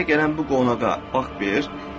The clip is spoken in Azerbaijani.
Sənə gələn bu qonağa bax bir.